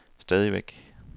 stadigvæk